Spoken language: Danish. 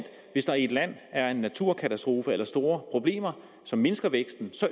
hvis der i et land er en naturkatastrofe eller store problemer som mindsker væksten